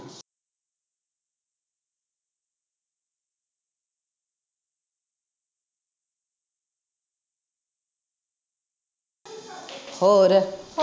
ਹੋਰ?